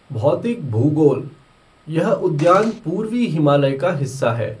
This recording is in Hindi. भौतिक भूगोल यह उद्यान पूर्वी हिमालय का हिस्सा है।